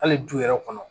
Hali du yɛrɛ kɔnɔ